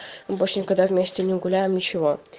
мы больше никогда вместе мы гуляем ничего